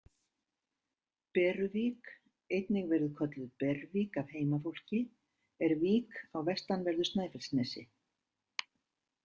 Beruvík, einnig verið kölluð Bervík af heimafólki, er vík á vestanverðu Snæfellsnesi.